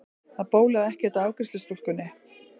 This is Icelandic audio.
Það bólaði ekkert á afgreiðslustúlkunni.